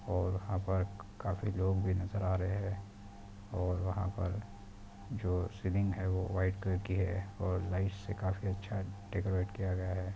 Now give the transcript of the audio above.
और यहाँ पर क-काफ़ी लोग भी नजर आ रहे हैं और वहाँ पर जो सीलिंग है वो व्हाइट कलर की है और लाइट से काफ़ी अच्छा डेकोरेट किया गया है।